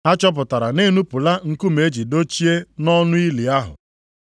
Ha chọpụtara na e nupụla nkume e ji dochie nʼọnụ ili ahụ.